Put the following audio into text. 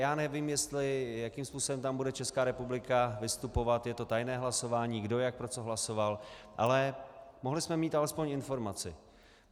Já nevím, jakým způsobem tam bude Česká republika vystupovat, je to tajné hlasování, kdo, jak pro co hlasoval, ale mohli jsme mít alespoň informaci.